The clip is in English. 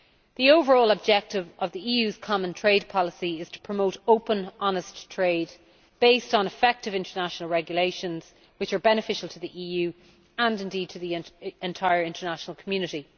The overall objective of the EU's Common Trade Policy is to promote open, honest trade based on effective international regulations which are beneficial to the EU and to the entire international community.